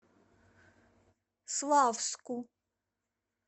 славску